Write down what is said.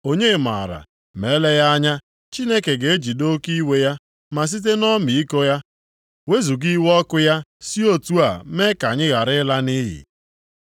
Onye maara? Ma eleghị anya, Chineke ga-ejide oke iwe ya, ma site nʼọmịiko ya wezuga iwe ọkụ ya si otu a mee ka anyị ghara ịla nʼiyi.”